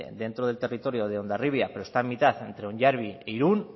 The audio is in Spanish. dentro del territorio de hondarribia pero está en mitad entre onyarbi e irun